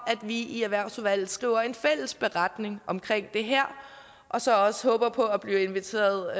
at vi i erhvervsudvalget skriver en fælles beretning om det her og så også håbe på at vi bliver inviteret